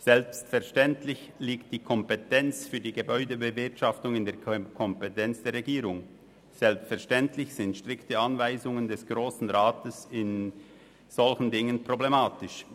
Selbstverständlich liegt die Gebäudebewirtschaftung in der Kompetenz der Regierung, und selbstverständlich sind strikte Anweisungen des Grossen Rats in solchen Angelegenheiten problematisch.